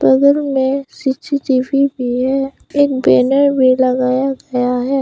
बगल में सी_सी_टी_वी भी है एक बैनर भी लगाया गया है।